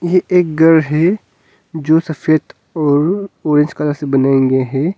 यह एक घर है जो सफेद और ऑरेंज कलर से बनाया गया है।